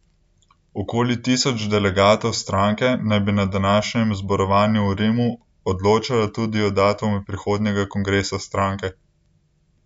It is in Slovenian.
Okoli tisoč delegatov stranke naj bi na današnjem zborovanju v Rimu odločalo tudi o datumu prihodnjega kongresa stranke.